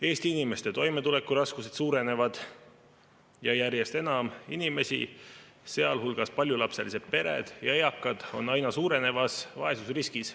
Eesti inimeste toimetulekuraskused suurenevad ja järjest enam inimesi, sealhulgas paljulapselised pered ja eakad, on aina suurenevas vaesusriskis.